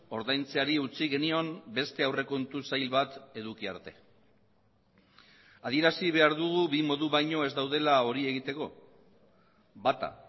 ordaintzeari utzi genion beste aurrekontu sail bat eduki arte adierazi behar dugu bi modu baino ez daudela hori egiteko bata